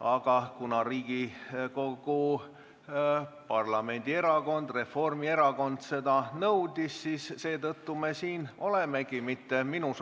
Aga kuna Riigikogu Reformierakonna fraktsioon seda nõudis, siis nii me siin olemegi, mitte minu